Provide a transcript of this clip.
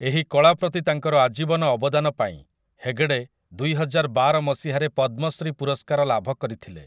ଏହି କଳା ପ୍ରତି ତାଙ୍କର ଆଜୀବନ ଅବଦାନ ପାଇଁ ହେଗଡ଼େ ଦୁଇହଜାରବାର ମସିହାରେ ପଦ୍ମଶ୍ରୀ ପୁରସ୍କାର ଲାଭ କରିଥିଲେ ।